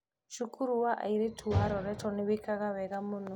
cukuru wa airĩtu wa Loreto nĩwĩkaga wega mũno